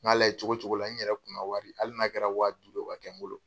Ŋ'a layɛ cogo cogo la n yɛrɛ kunna wari, hali n'a kɛra wa duuru ye, o ka kɛ n bolo.